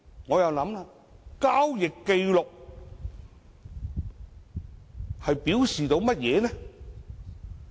請問交易紀錄代表甚麼呢？